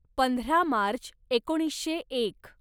पंधरा मार्च एकोणीसशे एक